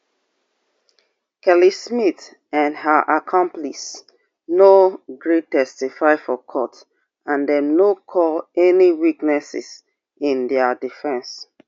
kelly smith and her accomplices no gree testify for court and dem no call any witnesses in dia defence